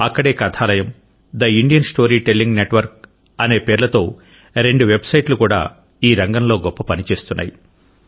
అక్కడే కథాలయం తే Indian story telling network అనే పేర్లతో రెండు websiteలు కూడా ఈ రంగంలో గొప్ప పని చేస్తున్నాయి